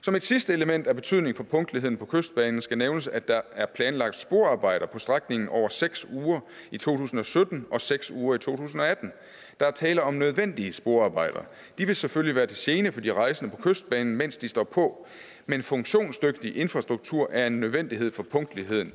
som et sidste element af betydning for punktligheden på kystbanen skal nævnes at der er planlagt sporarbejder på strækningen over seks uger i to tusind og sytten og seks uger i to tusind og atten der er tale om nødvendige sporarbejder de vil selvfølgelig være til gene for de rejsende på kystbanen mens de står på men funktionsdygtig infrastruktur er en nødvendighed for punktligheden